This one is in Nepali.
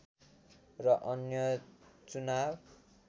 र अन्य चुनाव